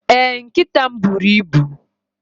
Ee, nkịta m buru ibu.